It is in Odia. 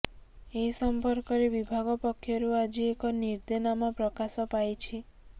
ଏ ସଂପର୍କରେ ବିଭାଗ ପକ୍ଷରୁ ଆଜି ଏକ ନିର୍ଦ୍ଦେନାମା ପ୍ରକାଶ ପାଇଛି